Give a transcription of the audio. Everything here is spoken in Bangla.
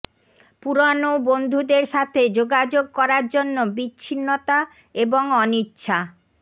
পুরানো বন্ধুদের সাথে যোগাযোগ করার জন্য বিচ্ছিন্নতা এবং অনিচ্ছা